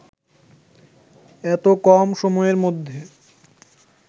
এত কম সময়ের মধ্যে